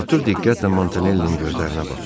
Artur diqqətlə Montanellinin gözlərinə baxdı.